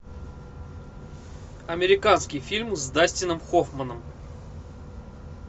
американский фильм с дастином хоффманом